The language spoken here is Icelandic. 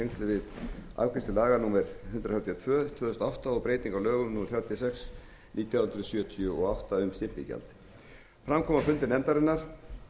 við afgreiðslu laga númer hundrað þrjátíu og tvö tvö þúsund og átta og um breytingu á lögum númer þrjátíu og sex nítján hundruð sjötíu og átta um stimpilgjald fram kom á fundum nefndarinnar